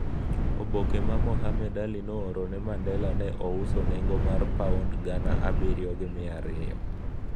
Oboke ma Mohammad Ali nooro ne Mandela ne ouso nengo mar Paond gana abiriyo gi mia ariyo